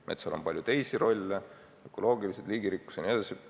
Metsal on aga ka palju teisi rolle: ökoloogilised, liigirikkus jne.